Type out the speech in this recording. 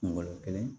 Kungolo kelen